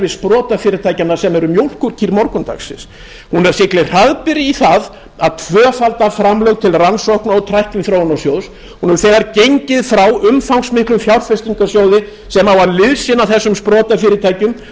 sprotafyrirtækjanna sem eru mjólkurkýr morgundagsins hún siglir hraðbyri í það að tvöfalda framlög til rannsókna og tækniþróunarsjóðs hún hefur þegar gengið frá umfangsmiklum fjárfestingasjóði sem á að liðsinna þessum sprotafyrirtækjum og er upp